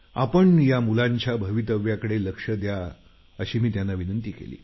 आपण या मुलांच्या भवितव्याकडे लक्ष द्या अशी मी त्यांना विनंती केली